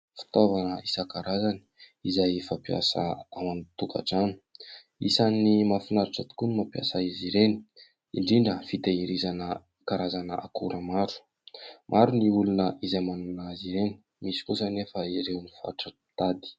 Fitaovana isan-karazany izay fampiasa ao an-tokatrano. Isan'ny mahafinaritra tokoa ny mampiasa izy ireny indrindra fitahirizana karazana akora maro. Maro ny olona izay manana izy ireny, misy kosa anefa ireo fatra-pitady.